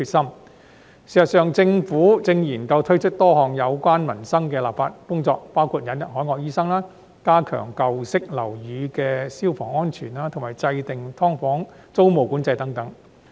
事實上，政府正研究推出多項有關民生的立法工作，包括引入海外醫生、加強舊式樓宇的消防安全，以及制訂"劏房"租務管制等。